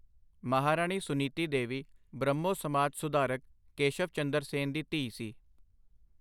ਮਹਾਰਾਣੀ ਸੁਨੀਤੀ ਦੇਵੀ ਬ੍ਰਹਮੋ ਸਮਾਜ ਸੁਧਾਰਕ ਕੇਸ਼ਵ ਚੰਦਰ ਸੇਨ ਦੀ ਧੀ ਸੀ।